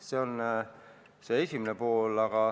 See on vastuseks küsimuse esimesele poolele.